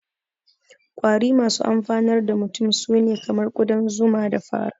Ƙwari masu amfanar da mutum su ne kamar ƙudan zuman, da fara